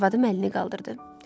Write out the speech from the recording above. Arvadım əlini qaldırdı.